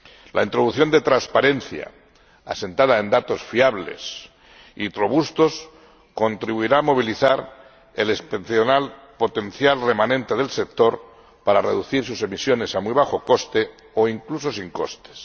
La introducción de transparencia, asentada en datos fiables y robustos, contribuirá a movilizar el excepcional potencial remanente del sector para reducir sus emisiones a muy bajo coste o incluso sin costes.